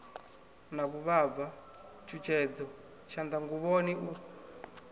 na vhuvhava tshutshedzo tshanḓanguvhoni u